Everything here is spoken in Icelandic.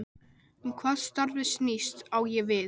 Um hvað starfið snýst, á ég við